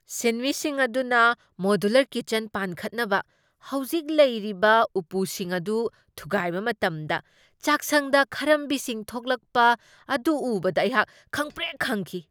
ꯁꯤꯟꯃꯤꯁꯤꯡ ꯑꯗꯨꯅ modular kitchen ꯄꯥꯟꯈꯠꯅꯕ ꯍꯧꯖꯤꯛ ꯂꯩꯔꯤꯕ ꯎꯄꯨꯁꯤꯡ ꯑꯗꯨ ꯊꯨꯒꯥꯏꯕ ꯃꯇꯝꯗ ꯆꯥꯛꯁꯪꯗ ꯈꯔꯝꯕꯤꯁꯤꯡ ꯊꯣꯛꯂꯛꯄ ꯑꯗꯨ ꯎꯕꯗ ꯑꯩꯍꯥꯛ ꯈꯪꯄ꯭ꯔꯦꯛ ꯈꯪꯈꯤ ꯫